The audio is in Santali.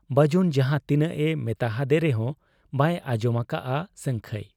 ᱵᱟᱹᱡᱩᱱ ᱡᱟᱦᱟᱸ ᱛᱤᱱᱟᱹᱜ ᱮ ᱢᱮᱛᱟ ᱦᱟᱫᱮ ᱨᱮᱦᱚᱸ ᱵᱟᱭ ᱟᱸᱡᱚᱢ ᱟᱠᱟᱜ ᱟ ᱥᱟᱹᱝᱠᱷᱟᱹᱭ ᱾